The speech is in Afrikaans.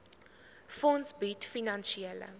fonds bied finansiële